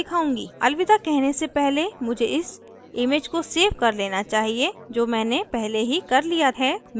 अलविदा कहने से पहले मुझे इस image को सेव कर लेना चाहिए जो मैंने पहले ही कर लिया है